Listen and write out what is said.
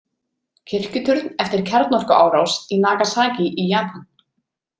Kirkjuturn eftir kjarnorkuárás í Nagasaki í Japan.